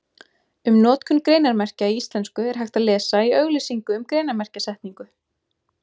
Um notkun greinarmerkja í íslensku er hægt að lesa í auglýsingu um greinarmerkjasetningu.